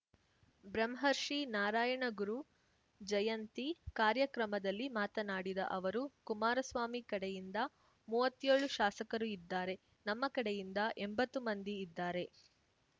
ಬ್ರಹ್ಮರ್ಷಿ ನಾರಾಯಣಗುರು ಜಯಂತಿ ಕಾರ್ಯಕ್ರಮದಲ್ಲಿ ಮಾತನಾಡಿದ ಅವರು ಕುಮಾರಸ್ವಾಮಿ ಕಡೆಯಿಂದ ಮೂವತ್ತ್ಯೋಳು ಶಾಸಕರು ಇದ್ದಾರೆ ನಮ್ಮ ಕಡೆಯಿಂದ ಎಂಬತ್ತು ಮಂದಿ ಇದ್ದಾರೆ